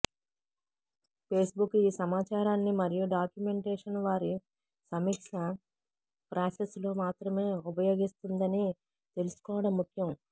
Facebook ఈ సమాచారాన్ని మరియు డాక్యుమెంటేషన్ వారి సమీక్ష ప్రాసెస్లో మాత్రమే ఉపయోగిస్తుందని తెలుసుకోవడం ముఖ్యం